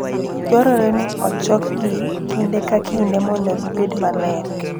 Dwarore ni ochokgi kinde ka kinde mondo gibed maler.